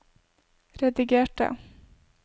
redigerte